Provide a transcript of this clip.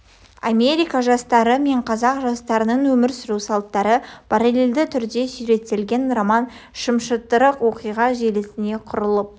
америка жастары мен қазақ жастарының өмір сүру салттары паралельді түрде суреттелген роман шымшытырық оқиға желісіне құрылып